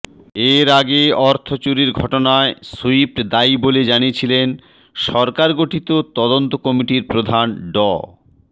এর আগে অর্থ চুরির ঘটনায় সুইফট দায়ী বলে জানিয়েছিলেন সরকার গঠিত তদন্ত কমিটির প্রধান ড